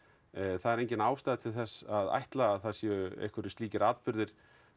það er engin ástæða til þess að ætla að það sé einhverjir slíkir atburðir